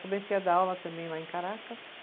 Comecei a dar aula também lá em Caracas.